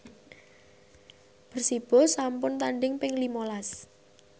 Persibo sampun tandhing ping lima las